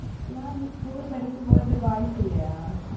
ஏன் நீ school படிக்கும் போது boys இல்லையா